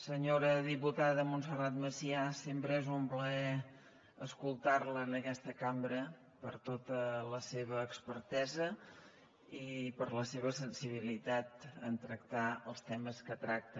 senyora diputada montserrat macià sempre és un plaer escoltar la en aquesta cambra per tota la seva expertesa i per la seva sensibilitat en tractar els temes que tracta